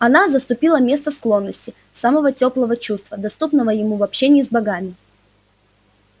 она заступила место склонности самого тёплого чувства доступного ему в общении с богами